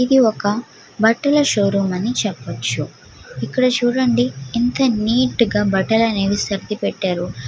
ఇది ఒక బట్టల షో రూం అని చెప్పొచ్చు. ఇక్కడ చుడండి బట్టలు అనేవి ఎంత నీట్ గ సరిది పెటారు.